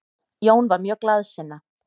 Jón var mjög glaðsinna.